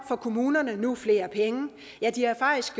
får kommunerne nu flere penge ja de har faktisk